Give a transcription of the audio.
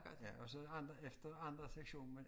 Ja og så andre efter andre sektionen men